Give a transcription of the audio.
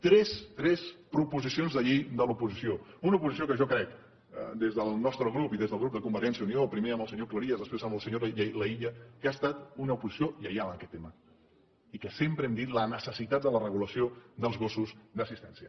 tres tres proposicions de llei de l’oposició una oposició que jo crec des del nostre grup i des del grup de convergència i unió primer amb el senyor cleries després amb la senyora laïlla que ha estat una oposició lleial en aquest tema i que sempre hem dit la necessitat de la regulació dels gossos d’assistència